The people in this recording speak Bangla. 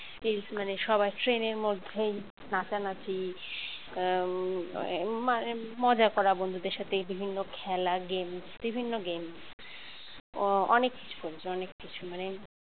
মানে সবাই ট্রেনের মধ্যে নাচানাচি মজা করা বন্ধুদের সাথে বিভিন্ন খেলা game বিভিন্ন game অ অনেক কিছু করেছি অনেক কিছু মানে